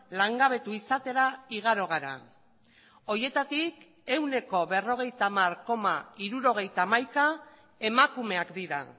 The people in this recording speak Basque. langabetu izatera igaro gara horietatik ehuneko berrogeita hamar koma hirurogeita hamaika emakumeak dira